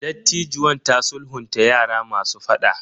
Dattijuwan ta sulhunta yara masu fada.